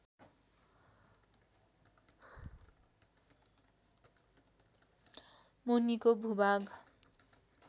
मुनिको भूभाग